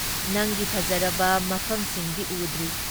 ꯅꯪꯒꯤ ꯐꯖꯔꯕ ꯃꯐꯝꯁꯤꯡꯗꯤ ꯎꯗ꯭ꯔꯤ ꯫